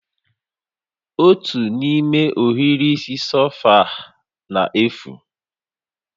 Otu n'ime ohiri isi sofa na-efu